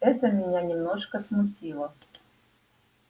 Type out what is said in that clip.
это меня немножко смутило